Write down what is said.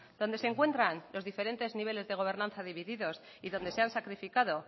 donde se encuentran los diferentes niveles de gobernanza divididos y donde se han sacrificado